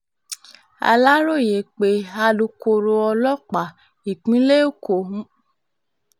aláròye pé alūkkóró ọlọ́pàá ìpínlẹ̀ èkó